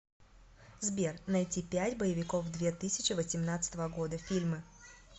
сбер найти пять боевиков две тысячи восемнадцатого года фильмы